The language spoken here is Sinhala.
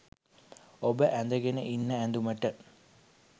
ඔබ ඔය ඇඳගෙන ඉන්න ඇඳුමට